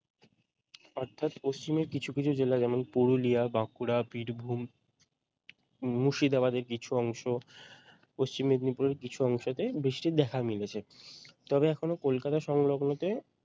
অর্থাৎ পশ্চিমের কিছু কিছু জেলা যেমন পুরুলিয়া বাঁকুড়া বীরভূম মুর্শিদাবাদের কিছু অংশ পশ্চিম মেদিনীপুরের কিছু অংশতে বৃষ্টির দেখা মিলেছে তবে এখনও কলকাতা সংলগ্নতে